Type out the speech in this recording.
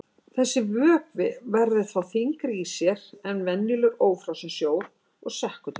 Þessi vökvi verður þá þyngri í sér en venjulegur ófrosinn sjór og sekkur til botns.